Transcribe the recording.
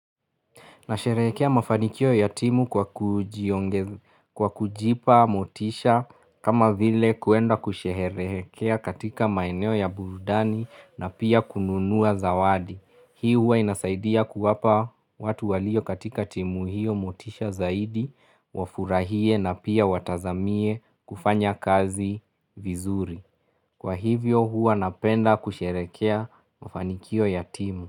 Nasherekea mafanikio ya timu kwa kujipa motisha kama vile kuenda kusherekea katika maeneo ya burudani na pia kununua zawadi. Hii hua inasaidia kuwapa watu walio katika timu hiyo motisha zaidi wafurahie na pia watazamie kufanya kazi vizuri. Kwa hivyo hua napenda kusherekea mafanikio ya timu.